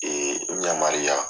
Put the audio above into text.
Ee n yamariya.